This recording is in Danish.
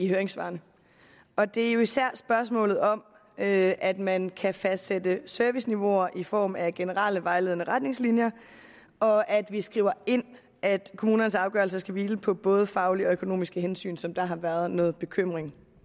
høringssvarene det er jo især spørgsmålet om at at man kan fastsætte serviceniveauer i form af generelle vejledende retningslinjer og at vi skriver ind at kommunernes afgørelser skal hvile på både faglige og økonomiske hensyn som der har været noget bekymring